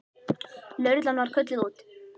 Lögreglan var kölluð út.